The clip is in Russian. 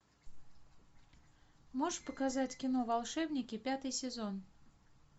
можешь показать кино волшебники пятый сезон